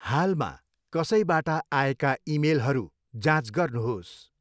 हालमा कसैबाट आएका इमेलहरू जाँच गर्नुहोस्।